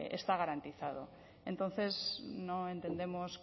está garantizado entonces no entendemos